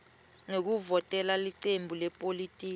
ngekuvotela licembu lepolitiki